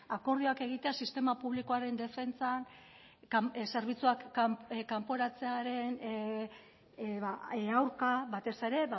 akordioak egitea sistema publikoaren defentsan zerbitzuak kanporatzearen aurka batez ere